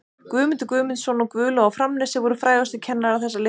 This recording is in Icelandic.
Guðmundur Guðmundsson og Guðlaug á Framnesi voru frægustu kennarar þessa litla skóla.